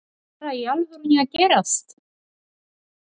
Var þetta bara í alvörunni að gerast??